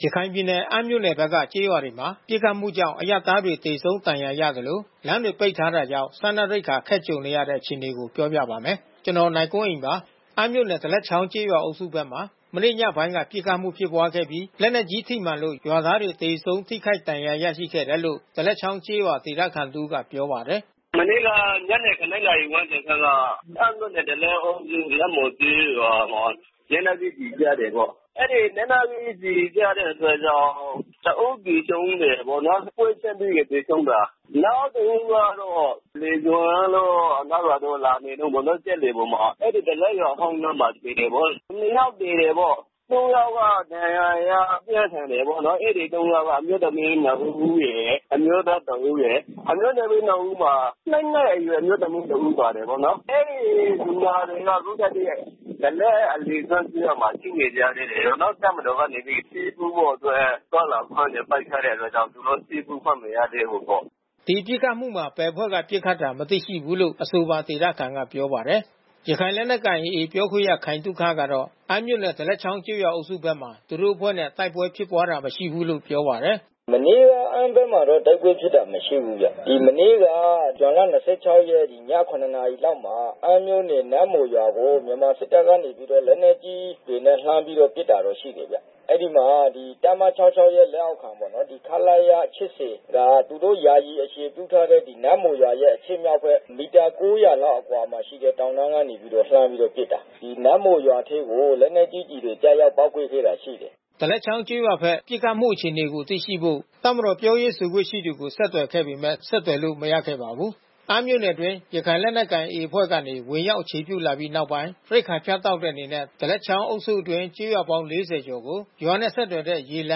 ရခိုင်ပြည်နယ် အမ်းမြို့နယ်ဘက်က ကျေးရွာတွေမှာ ပစ်ခတ်မှုကြောင့် အရပ်သားတွေ သေဆုံး ဒဏ်ရာရသလို လမ်းတွေပိတ်ထားတာကြောင့် စားနပ်ရိက္ခာ အခက်ကြုံနေရပါတယ်။ အပြည့်အစုံကို နိုင်ကွန်းအိန် ဆက်သွယ်မေးမြန်း တင်ပြထားပါတယ်။ အမ်းမြို့နယ် ဒါးလက်ချောင်းကျေးရွာအုပ်စုဘက်မှာ မနေ့ညပိုင်းက ပစ်ခတ်မှု ဖြစ်ပွားခဲ့ပြီး လက်နက်ကြီးထိမှန်လို့ ရွာသားတွေ သေဆုံး ထိခိုက်ဒဏ်ရာ ရရှိခဲ့တယ်လို့ ဒါးလက်ချောင်းကျေးရွာ ဒေသခံတဦးက ပြောပါတယ်။ “မနေ့က ညနေ ၇ နာရီဝန်းကျင်ခန့်က အမ်းမြို့နယ် ဒါးလက်အုပ်စု နတ်မှော်ကျေးရွာမှာ လက်နက်ကြီးကျည် ကျတယ်ပေါ့။ အဲဒီ လက်နက်ကြီးကျည် ကျတဲ့အတွက်ကြောင့် တဦးသေဆုံးတယ်ပေါ့နော်၊ ပွဲချင်းပြီး သေဆုံးတာ။ နောက်တဦးကတော့ အလယ်ကျွန်းတို့ အနောက်ရွာတို့ လာနေတုန်းပေါ့နော်၊ စက်လှေပေါ်မှာ အဲဒီ ဒါးလက်ရွာဟောင်းနားမှာ သေတယ်ပေါ့။ နှစ်ယောက်သေတယ်ပေါ့။ သုံးယောက်က ဒဏ်ရာရပြင်းထန်တယ်ပေါ့။ အဲဒီ သုံးယောက်က အမျိုးသမီးနှစ်ဦးရယ် အမျိုးသားတဦးရယ်။ အမျိုးသမီးနှစ်ဦးမှာ ၂ နှစ်အရွယ် အမျိုးသမီးတဦး ပါတယ်ပေါ့နော်။ အဲဒီလူနာတွေက အခုထက်ထိ ဒါးလက် အလယ်ကျွန်းကျေးရွာမှာ ရှိနေကြသေးတာပေါ့နော်။ တပ်မတော်ကနေပြီး ဆေးကုဖို့အတွက် သွားလာခွင့်တွေ ပိတ်ထားတဲ့အတွက်ကြောင့် သူတို့ ဆေးကုခွင့် မရသေးဘူးပေါ့။” ဒီပစ်ခတ်မှုမှာ ဘယ်အဖွဲ့ကပစ်ခတ်တာ မသိရှိဘူးလို့ အဆိုပါဒေသခံက ပြောပါတယ်။ ရခိုင်လက်နက်ကိုင် AA ပြောခွင့်ရ ခိုင်သုခကတော့ အမ်းမြို့နယ် ဒါးလက်ချောင်းကျေးရွာအုပ်စုဘက်မှာ သူတို့အဖွဲ့နဲ့ တိုက်ပွဲဖြစ်ပွားတာ မရှိဘူးလို့ ပြောပါတယ်။ “မနေ့က အမ်းဘက်မှာတော့ တိုက်ပွဲဖြစ်တာ မရှိဘူးဗျ။ မနေ့က ဇွန်လ ၂၆ ရက် ည ၇ နာရီလောက်မှာ အမ်းမြို့နယ် နတ်မှော်ရွာကို မြန်မာစစ်တပ်က လက်နက်ကြီးတွေနဲ့ လှမ်းပြီးတော့ ပစ်တာရှိတယ်။ အဲဒီမှာ တပ်မ ၆၆ ရဲ့ လက်အောက်ခံပေါ့နော်၊ ခလရ ၈၀ က သူတို့ ယာယီအခြေပြုထားတဲ့ နတ်မှော်ရွာရဲ့ အရှေ့မြောက်ဘက် မီတာ ၉၀၀ အကွာလောက်မှာရှိတဲ့ တောင်တန်းကနေ လှမ်းပြီးတော့ပစ်တာ။ နတ်မှော်ရွာထဲကို လက်နက်ကြီး ကျရောက်ပေါက်ကွဲခဲ့တာ ရှိတယ်။” ဒါးလက်ချောင်းကျေးရွာဘက် ပစ်ခတ်မှု အခြေအနေကို သိရှိဖို့ တပ်မတော် ပြောရေးဆိုခွင့်ရှိသူကို ဆက်သွယ်ခဲ့ပေမယ့် ဆက်သွယ်လို့ မရခဲ့ပါဘူး။ အမ်းမြို့နယ်အတွင်း ရခိုင်လက်နက်ကိုင် AA အဖွဲ့ကနေ ဝင်ရောက်အခြေပြုလာပြီး နောက်ပိုင်း ရိက္ခာဖြတ်တောက်တဲ့ အနေနဲ့ ဒါးလက်ချောင်းအုပ်စုအတွင်း ကျေးရွာပေါင်း ၄၀ ကျော်ကို ရွာနဲ့ဆက်သွယ်တဲ့ ရေလ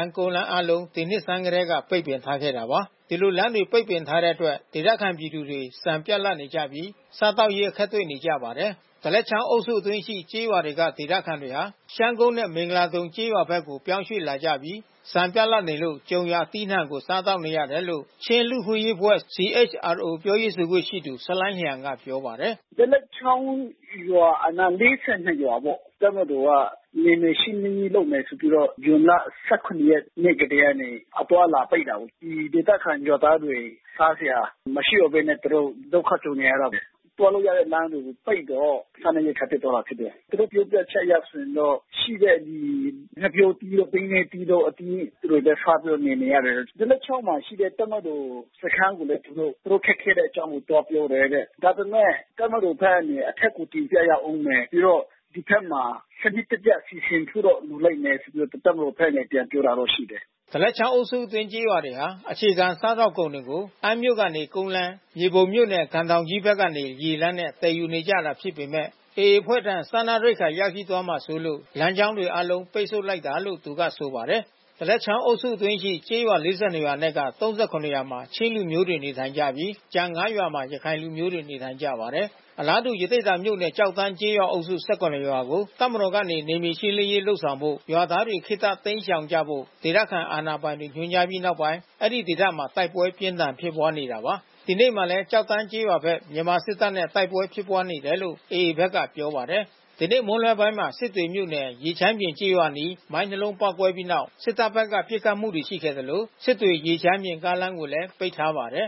မ်း၊ ကုန်းလမ်း အားလုံး ဒီနှစ်ဆန်းကတည်းက ပိတ်ပင်ထားခဲ့တာပါ။ ဒီလို လမ်းတွေကို ပိတ်ပင်ထားတဲ့အတွက် ဒေသခံပြည်သူတွေ ဆန်ပြတ်လပ်နေကြပြီး စားသောက်ရေး အခက်တွေ့နေကြပါတယ်။ ဒါးလက်ချောင်းအုပ်စုအတွင်းရှိ ကျေးရွာတွေက ဒေသခံတွေဟာ ရှမ်းကုန်းနဲ့ မင်္ဂလာဒုံကျေးရွာကို ပြောင်းရွှေ့လာကြပြီး ဆန်ပြတ်လပ်နေလို့ ကြုံရာအသီးအနှံကို စားသောက်နေကြရတယ်လို့ ချင်းလူ့အခွင့်အရေးအဖွဲ့ (CHRO) ပြောရေးဆိုခွင့်ရှိသူ ဆလိုင်းလျန်က ပြောပါတယ်။ “ဒါးလက်ချောင်းရွာအနား ၄၂ ရွာပေါ့။ တပ်မတော်က နယ်မြေရှင်းလင်းရေး လုပ်မယ်ဆိုပြီးတော့ ဇွန်လ ၁၇ နေ့ကတည်းကနေ အသွားအလာ ပိတ်တာပေါ့။ ဒီဒေသခံရွာသားတွေ စားစရာမရှိတော့ဘဲ သူတို့ ဒုက္ခကြုံနေရတယ်။ သွားလို့ရတဲ့လမ်းတွေကို ပိတ်တော့ စားနပ်ရိက္ခာ ပြတ်သွားတာဖြစ်တယ်။ သူတို့ ပြောပြချက်အရ ဆိုရင်တော့ ရှိတဲ့ ဒီ ငှက်ပျောသီးတို့ ပိန္နဲသီးတို့ အသီးတွေပဲ စားပြီးတော့ နေနေရတယ်။ ဒါးလက်ချောင်းမှာရှိတဲ့ တပ်မတော်စခန်းတွေကိုလည်းပဲ သူတို့ ခက်ခဲတဲ့အကြောင်းကို သွားပြောတယ်တဲ့။ ဒါပေမယ့် တပ်မတော်ဘက်ကနေ အထက်ကို တင်ပြရဦးမယ်။ ပြီးတော့ ဒီဘက်မှာ စနစ်တကျ စီစဉ်ဖို့တော့ လိုလိမ့်မယ်ဆိုပြီးတော့ တပ်မတော်ဘက်က ပြန်ပြောတာရှိတယ်။” ဒါးလက်ချောင်းအုပ်စုအတွင်း ကျေးရွာတွေဟာ အခြေခံစားသောက်ကုန်တွေကို အမ်းမြို့ကနေ ကုန်းလမ်း၊ မြေပုံမြို့နယ် ကံတောင်ကြီးဘက်ကနေ ရေလမ်းကြောင်းနဲ့ သယ်ယူကြတာဖြစ်ပေမယ့် AA အဖွဲ့ထံ စားနပ်ရိက္ခာ ရောက်ရှိသွားမှာစိုးလို့ လမ်းကြောင်းတွေအားလုံး ပိတ်ဆို့လိုက်တာလို့ သူက ဆိုပါတယ်။ ဒါးလက်ချောင်းအုပ်စုအတွင်းရှိ ကျေးရွာ ၄၂ ရွာအနက် ၃၇ ရွာမှာ ချင်းလူမျိုးတွေ နေထိုင်ကြပြီး ကျန် ၅ ရွာမှာ ရခိုင်လူမျိုးတွေ နေထိုင်ကြပါတယ်။ ဒီနေ့မှာလည်း ကျောက်တန်းကျေးရွာဘက် မြန်မာစစ်တပ်နဲ့ တိုက်ပွဲဖြစ်ပွားနေတယ်လို့ AA ဘက်က ပြောပါတယ်။ ဒီနေ့မွန်းလွဲပိုင်းမှာ စစ်တွေမြို့နယ်၊ ရေချမ်းပြင်ကျေးရွာအနီး မိုင်းနှစ်လုံး ပေါက်ကွဲပြီးနောက် စစ်တပ်ဘက်က ပစ်ခတ်မှုတွေ ရှိခဲ့သလို စစ်တွေ-ရေချမ်းပြင် ကားလမ်းကိုလည်း ပိတ်ထားပါတယ်